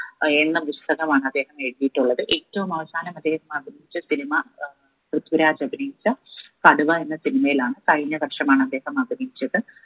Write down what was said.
ഏർ എന്ന പുസ്തകമാണ് ആദ്ദേഹം എഴുതിയിട്ടുള്ളത് ഏറ്റവും അവസാനം അദ്ദേഹം അഭിനയിച്ച cinema ഏർ പൃഥ്വിരാജ് അഭിനയിച്ച കടുവ എന്ന cinema യിലാണ് കഴിഞ്ഞ വർഷമാണ് അദ്ദേഹം അഭിനയിച്ചത്